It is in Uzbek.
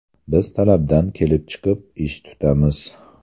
Biz talabdan kelib chiqib, ish tutamiz.